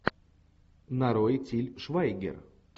нарой тиль швайгер